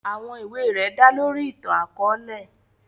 Àwọn iwe rẹ da lori itan-akọọlẹ.